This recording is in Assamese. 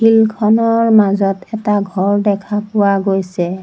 ফিল্ড খনৰ মাজত এটা ঘৰ দেখা পোৱা গৈছে।